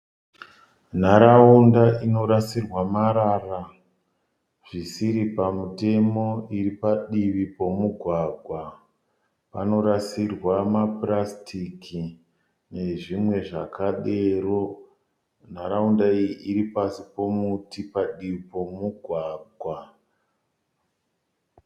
Nharaunda inorasirwa marara zvisiri pamutemo iri padivi pomugwagwa. Panorasirwa mapurasitiki nezvimwe zvakadero. Nharaunda iyi iri pasi pomuti padivi pomugwagwa.